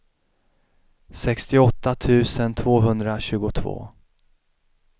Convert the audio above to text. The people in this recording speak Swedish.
sextioåtta tusen tvåhundratjugotvå